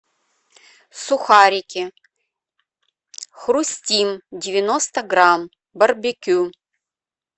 сухарики хрустим девяносто грамм барбекю